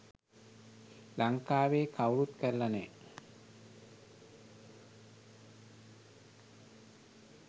ලංකාවේ කවුරුත් කරල නෑ.